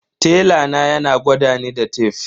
Tela na yana gwadani da tef.